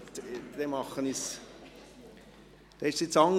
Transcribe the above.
Dann mache ich es anders.